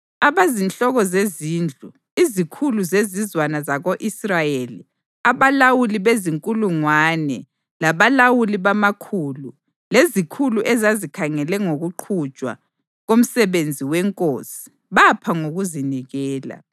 Abazinhloko zezindlu, izikhulu zezizwana zako-Israyeli, abalawuli bezinkulungwane labalawuli bamakhulu, lezikhulu ezazikhangele ngokuqhutshwa komsebenzi wenkosi bapha ngokuzinikela.